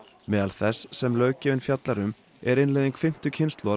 meðal þess sem löggjöfin fjallar um er innleiðing fimmtu kynslóðar